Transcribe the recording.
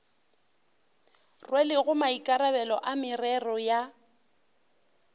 rwelego maikarabelo a merero ya